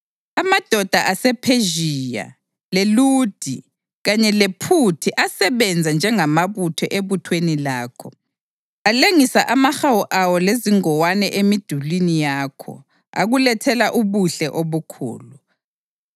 Amadoda asePhezhiya, leLudi kanye lePhuthi asebenza njengamabutho ebuthweni lakho. Alengisa amahawu awo lezingowane emidulini yakho, akulethela ubuhle obukhulu.